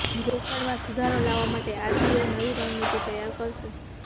રોકડમાં સુધારો લાવવા માટે આરબીઆઇ નવી રણનીતિ તૈયાર કરશે